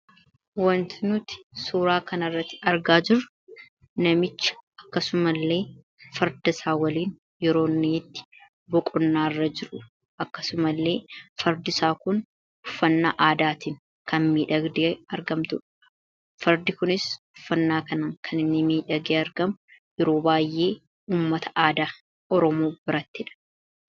Wanti nuti suuraa kanarratti argaa jirru namicha akkasumallee fardasaa waliin yeroo inni boqonnaarra jiru akkasumallee fardisaa kun haala aadaatiin kan argamtudha. Fardi kun uffannaa kanaan kan inni miidhagee argamu yeroo baay'ee uuummata aadaa oromoo birattidha.